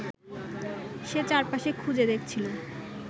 সে চারপাশে খুঁজে দেখছিল